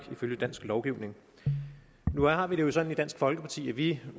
ifølge dansk lovgivning nu har vi det jo sådan i dansk folkeparti at vi